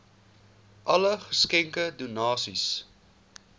alle geskenke donasies